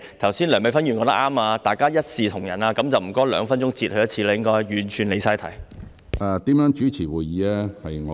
剛才梁美芬議員說得對，大家要一視同仁，那麼請主席兩分鐘便提醒她一次。